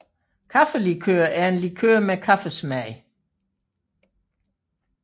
Kaffelikør er en likør med kaffesmag